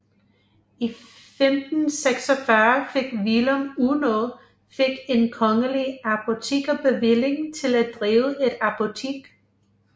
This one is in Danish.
I 1546 fik Willum Unno fik en kongelig apotekerbevilling til at drive et apotek